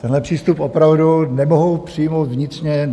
Tenhle přístup opravdu nemohu přijmout vnitřně.